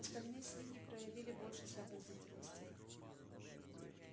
остальные свиньи проявили больше сообразительности